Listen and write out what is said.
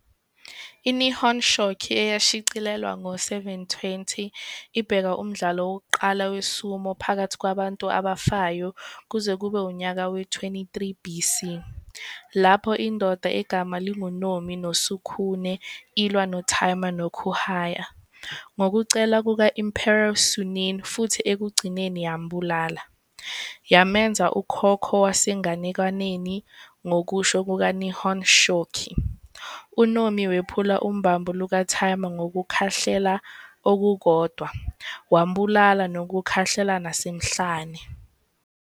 I-Nihon Shoki, eyashicilelwa ngo-720, ibeka umdlalo wokuqala we-sumo phakathi kwabantu abafayo kuze kube unyaka we-23 BC, lapho indoda egama linguNomi no Sukune ilwa noTaima noKuehaya ngokucela kuka-Emperor Suinin futhi ekugcineni yambulala, yamenza ukhokho wasenganekwaneni Ngokusho kukaNihon Shoki, uNomi wephule ubambo lukaTaima ngokukhahlela okukodwa, wambulala nokukhahlela nasemhlane.